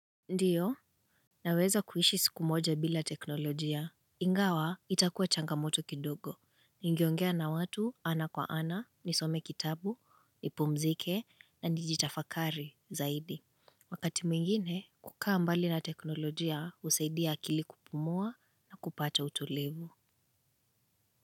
Ndiyo, naweza kuishi siku moja bila teknolojia ingawa itakuwa changamoto kidogo, ningeongea na watu ana kwa ana, nisome kitabu, nipumzike na nijitafakari zaidi wakati mwingine kukaa mbali na teknolojia husaidia akili kupumua na kupata utulivu.